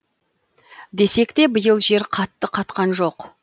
десек те биыл жер қатты қатқан жоқ